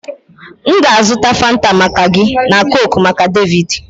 M ga-azụta Fanta maka gị na coke maka David